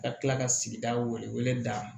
Ka tila ka sigida wele wele da